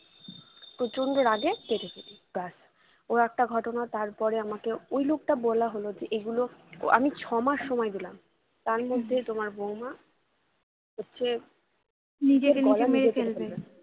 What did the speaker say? প্রচন্ড রগে কেটে ফেলি ওই একটা ঘটনা তারপরে আমাকে ওই লোকটা বলা হলো যে এগুলো ও আমি ছয়মাস সময় দিলাম তার মধ্যেই তোমার বৌমা হচ্ছে নিজের গলা নিজে কেটে ফেলবে